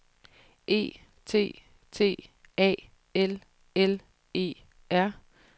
E T T A L L E R